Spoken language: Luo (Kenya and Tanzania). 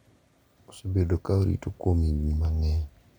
Osebedo ka orito kuom higni mang’eny,